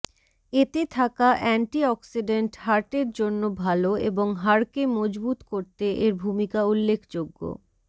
এতে থাকা antioxidant হার্টের জন্য ভালো এবং হাড়কে মজবুত করতে এর ভূমিকা উল্লেখযোগ্য